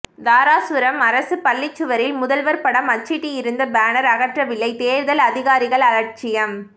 தாராசுரம் அரசு பள்ளி சுவரில் முதல்வர் படம் அச்சிட்டிருந்த பேனர் அகற்றவில்லை தேர்தல் அதிகாரிகள் அலட்சியம்